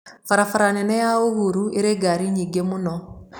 Barabara nene ya Uhuru ĩrĩ ngaari nyingĩ mũno